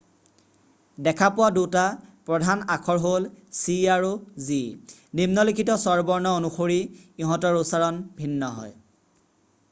দেখা পোৱা দুটা প্ৰধান আখৰ হ'ল c আৰু g নিম্নলিখিত স্বৰবৰ্ণ অনুসৰি ইহঁতৰ উচ্চাৰণ ভিন্ন হয়